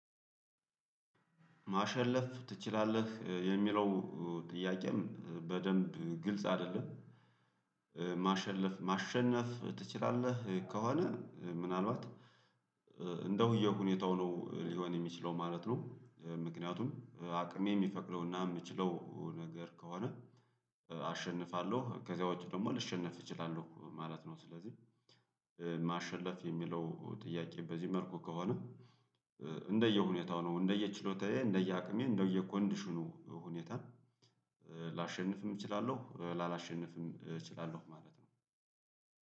ማሸለፍ ትችላለህ የሚለው ጥያቄው በደንብ ግልጽ አይደለም? ማሸለፍ ማሸነፍ ትችላለህ ከሆነ ምናልባት አንደ እንደ ሁኔታው ነው ሊሆን የሚችለው ማለት ነው። ምክንያቱም አቅሜ የሚፈቅደውና የምችለው ነገር ከሆነ አሸንፋለሁ ከዚያ ውጪ ደግሞ ልሸነፍ እችላለሁ ማለት ነው። ስለዚህ ማሸለፍ የሚለው ጥያቄ በዚህ መልኩ ከሆነ። እንደየ ሁኔታው ነው እንደየ ችሎታዬ እንደየ አቅሜ እንደየ ኮንዲሽኑ ሁኔታን ላሸንፍም እችላለሁ ላላሸንፍም እችላለሁ።